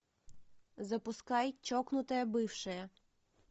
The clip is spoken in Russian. запускай чокнутая бывшая